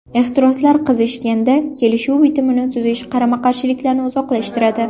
Ehtiroslar qizishganda, kelishuv bitimini tuzish qarama-qarshilikni uzoqlashtiradi.